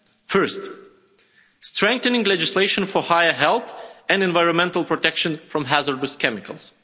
First strengthening legislation for higher health and environmental protection from hazardous chemicals.